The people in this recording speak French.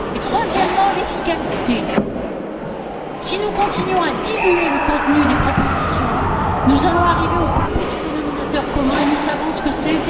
Le troisième mot est efficacité si nous continuons à diluer le contenu des propositions, nous allons arriver au plus petit dénominateur commun et nous savons ce que c'est.